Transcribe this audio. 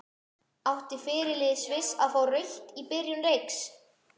Átti fyrirliði Sviss að fá rautt í byrjun leiks?